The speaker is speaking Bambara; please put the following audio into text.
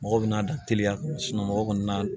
Mɔgɔ bɛna dan teliya kɔnɔ mɔgɔ kɔni na